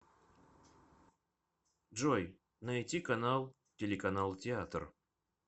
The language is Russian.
джой найти канал телеканал театр